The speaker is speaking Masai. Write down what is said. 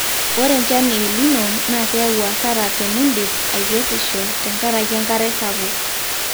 ore enchan e elnino naa keyau asara tenidip aikesisho tenkaraki enkare sapuk